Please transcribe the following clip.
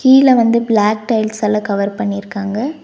கீழ வந்து பிளாக் டைல்ஸ்ஸால கவர் பண்ணிருக்காங்க.